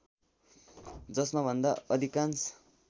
जसमा भन्दा अधिकाङ्श